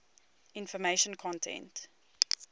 information content